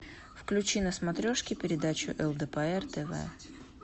включи на смотрешке передачу лдпр тв